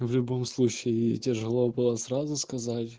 в любом случае тяжело было сразу сказать